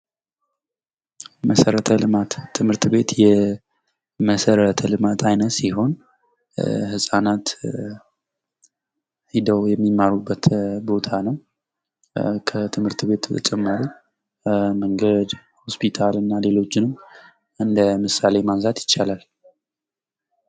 መሰረተ ልማት ትምህርት ቤት የመሠረተ ልማት ዓይነት ሲሆን ህጻናት ሂደው የሚማሩበት ቦታ ነው። ከትምህርት ቤት በተጨማሪም መንገድ፥ ሆስፒታል እና ሌሎች ተጨማሪዎችንም እንደምሳሌነት ማንሳት ይቻላል።